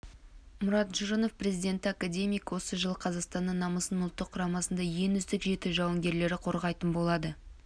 мұрат жұрынов президенті академик осы жылы қазақстанның намысын ұлттық құрамасының ең үздік жеті жауынгерлері қорғайтын болады